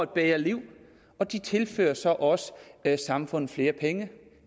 bedre liv og de tilfører så også samfundet flere penge det